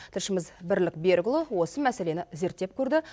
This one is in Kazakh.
тілшіміз бірлік берікұлы осы мәселені зерттеп көрді